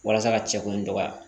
Walasa ka cɛ kun dɔgɔya